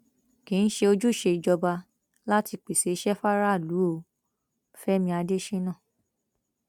kì í ṣe ojúṣe ìjọba láti pèsè iṣẹ faraàlú o fẹmi adésínà